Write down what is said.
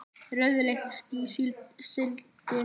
Rauðleitt ský sigldi um himininn.